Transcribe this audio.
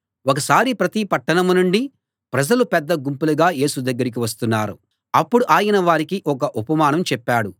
ఒకసారి ప్రతి పట్టణం నుండీ ప్రజలు పెద్ద గుంపులుగా యేసు దగ్గరికి వస్తున్నారు అప్పుడు ఆయన వారికి ఒక ఉపమానం చెప్పాడు